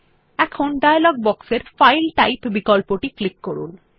এখন ডায়লগ বক্সের file type বিকল্পটি ক্লিক করুন